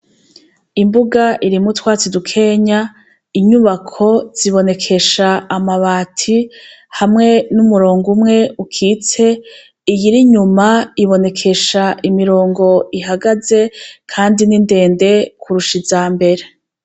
Imbuga irimwo utwatsi dukeya, inyubako zibonekesha amabati hamwe n'umurongo umwe ukitse iyir'inyuma ibonekesha imirongo ihagaze kandi nindende kirusha izambere.